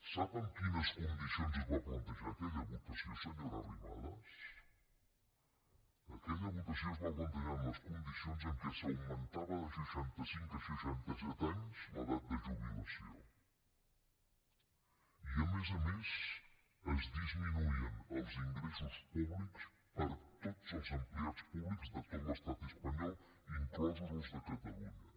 sap amb quines condicions es va plantejar aquella votació senyora arrimadas aquella votació es va plantejar amb les condicions que s’augmentava de seixantacinc a seixantaset anys l’edat de jubilació i a més a més es disminuïen els ingressos públics per a tots els empleats públics de tot l’estat espanyol inclosos els de catalunya